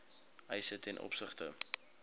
eise ten opsigte